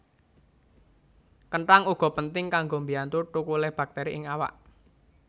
Kenthang uga penting kanggo mbiyantu thukule baktéri ing awak